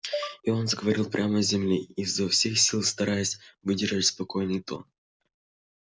и он заговорил прямо с земли изо всех сил стараясь выдержать спокойный тон